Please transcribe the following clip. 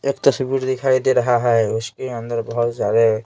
एक तस्वीर दिखाई दे रहा है उसके अंदर बहुत सारे--